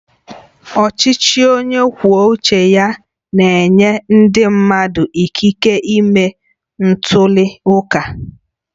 Ọchịchị onye kwuo uche ya na-enye ndị mmadụ ikike ịme ntuli aka